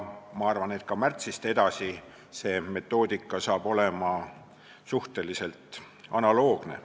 Ma arvan, et ka märtsist edasi on see metoodika suhteliselt analoogne.